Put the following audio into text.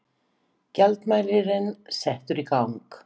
Gjaldmælirinn settur í gang.